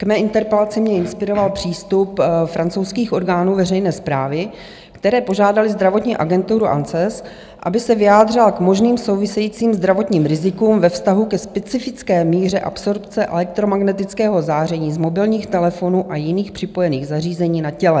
K mé interpelaci mě inspiroval přístup francouzských orgánů veřejné správy, které požádaly zdravotní agenturu ANSES, aby se vyjádřila k možným souvisejícím zdravotním rizikům ve vztahu ke specifické míře absorpce elektromagnetického záření z mobilních telefonů a jiných připojených zařízení na těle.